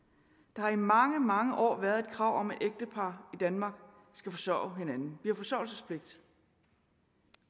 der har i mange mange år været et krav om at ægtepar i danmark skal forsørge hinanden vi har forsørgelsespligt